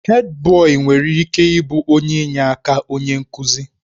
Hèdbọyi nwere ike ịbụ onye inyeaka onye nkuzi.